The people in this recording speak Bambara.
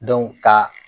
ka